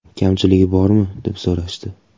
Kamchiligi bormi, deb so‘rashdi.